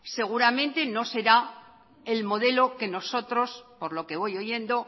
seguramente no será el modelo que nosotros por lo que voy oyendo